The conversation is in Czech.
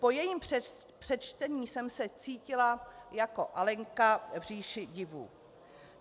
Po jejím přečtení jsem se cítila jako Alenka v říši divů.